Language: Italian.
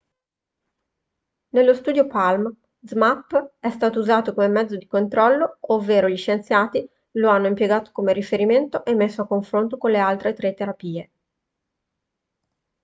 nello studio palm zmapp è stato usato come mezzo di controllo ovvero gli scienziati lo hanno impiegato come riferimento e messo a confronto con le altre tre terapie